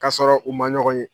K'a sɔrɔ u ma ɲɔgɔn ye.